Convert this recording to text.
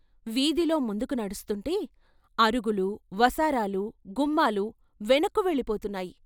వీధిలో ముందుకు నడుస్తుంటే, అరుగులు, వసారాలు, గుమ్మాలు వెనక్కు వెళ్ళిపోతున్నాయి.